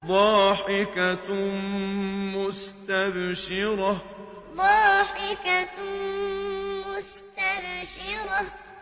ضَاحِكَةٌ مُّسْتَبْشِرَةٌ ضَاحِكَةٌ مُّسْتَبْشِرَةٌ